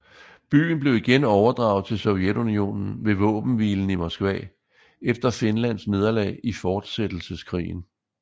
Byen blev igen overdraget til Sovjetunionen ved Våbenhvilen i Moskva efter Finlads nederlag i fortsættelseskrigen